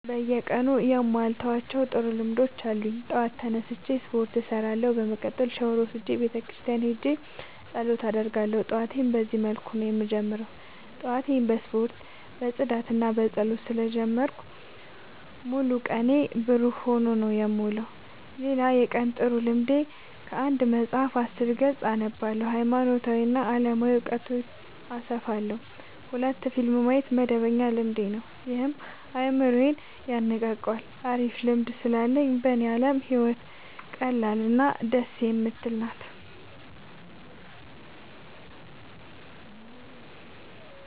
በየቀኑ የማልተዋቸው ጥሩ ልምዶች አሉኝ ጠዋት ተነስቼ ስፓርት እሰራለሁ። በመቀጠልም ሻውር ወስጄ ቤተክርስቲያን ሄጄ ፀሎት አደርጋለሁ ጠዋቴን በዚህ መልኩ ነው የምጀምረው። ጠዋቴን በስፖርት በፅዳትና በፀሎት ስለ ጀመርኩት ሙሉ ቀኔ ብሩህ ሆኖ ነው የምውለው። ሌላ የቀን ጥሩ ልምዴ ከአንድ መፀሀፍ አስር ገፅ አነባለሁ ሀይማኖታዊ እና አለማዊ እውቀቴን አሰፋለሁ። ሁለት ፊልም ማየት መደበኛ ልማዴ ነው ይህም አይምሮዬን የነቃቃዋል አሪፍ ልምድ ስላለኝ በኔ አለም ህይወት ቀላል እና ደስ የምትል ናት።